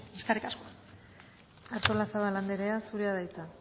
eskerrik asko artolazabal andrea zurea da hitza